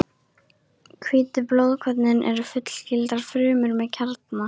Hvítu blóðkornin eru fullgildar frumur með kjarna.